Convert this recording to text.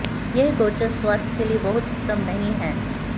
यह गोचर स्वास्थ्य के लिए बहुत उत्तम नहीं है